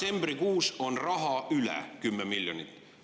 … detsembrikuus, on 10 miljonit üle.